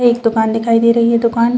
एक दुकान दिखाई दे रही है दुकान--